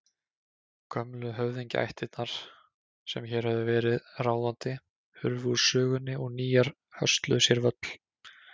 Gömlu höfðingjaættirnar sem hér höfðu verið ráðandi hurfu úr sögunni og nýjar hösluðu sér völl.